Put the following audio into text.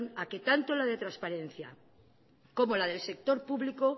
a que tanto la de transparencia como la del sector público